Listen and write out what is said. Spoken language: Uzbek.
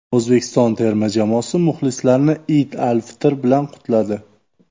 O‘zbekiston terma jamoasi muxlislarni Iyd al-Fitr bilan qutladi.